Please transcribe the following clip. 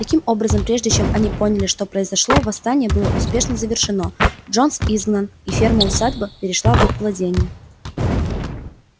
таким образом прежде чем они поняли что произошло восстание было успешно завершено джонс изгнан и ферма усадьба перешла в их владение